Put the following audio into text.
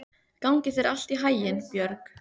Gangi þér allt í haginn, Björg.